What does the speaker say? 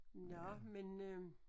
Nåh men øh